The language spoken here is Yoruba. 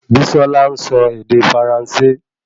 Bisola nsọ ède faransé